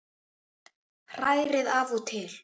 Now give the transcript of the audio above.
Hrærið af og til.